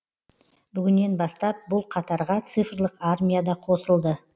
бүгіннен бастап бұл қатарға цифрлық армия да қосылды